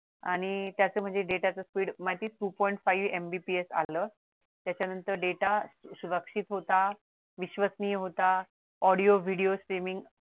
आणि त्याच म्हणजे डेटाचे speed two point five MBPS लागलं डेटा सुरक्षित होता विश्वसनीय होता audio video screening